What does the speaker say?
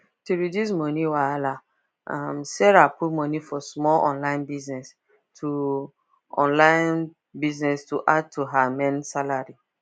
to reduce money wahala um sarah put money for small online business to online business to add to her main salary